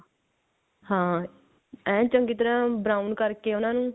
ਹਾਂ ਐਂ ਚੰਗੀ ਤਰ੍ਹਾਂ brown ਕਰਕੇ ਉਹਨਾਂ ਨੂੰ